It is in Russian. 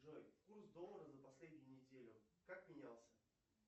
джой курс доллара за последнюю неделю как менялся